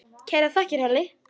Kærar þakkir, Halli.